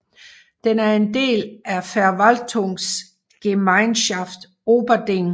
Den er en del af Verwaltungsgemeinschaft Oberding